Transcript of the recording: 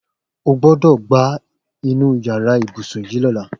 O gbọ́dọ̀ gbá inú yàrá ibùsùn yìí lọ́la!